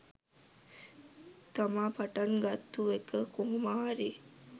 තමා පටන් ගත්තු එක කොහොම හරි